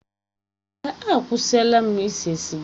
Èè, akwụsịla m ise siga.